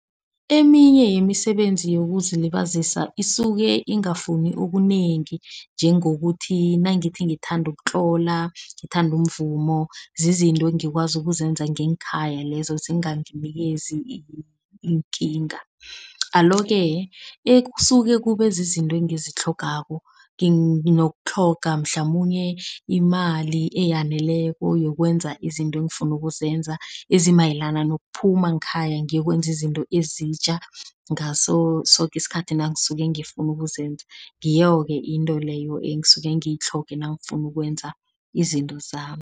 Eminye yemisebenzi yokuzilibazisa isuke ingafuni okunengi. Njengokuthi nangithi ngithanda ukutlola, ngithanda umvumo zizinto engikwazi ukuzenza nginkhaya lezo. Zinganginikezi iinkinga, alo-ke ekusuke kube zizinto engizitlhogako. Nginokutlhoga mhlamunye imali eyaneleko yokwenza izinto engifuna ukuzenza. Ezimayelana nokuphuma ngekhaya ngiyokwenza izinto ezitja, ngaso soke isikhathi nangisuke ngifuna ukuzenza. Ngiyo-ke into leyo engisuke ngiyitlhoge nangifuna ukwenza izinto zami.